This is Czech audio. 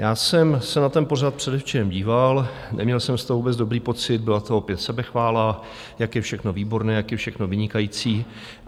Já jsem se na ten pořad předevčírem díval - neměl jsem z toho vůbec dobrý pocit, byla to opět sebechvála, jak je všechno výborné, jak je všechno vynikající.